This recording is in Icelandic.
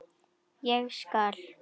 Ég skal.